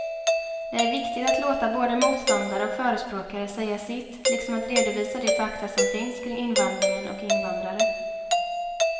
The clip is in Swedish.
Det är viktigt att låta både motståndare och förespråkare säga sitt liksom att redovisa de fakta som finns kring invandringen och invandrare.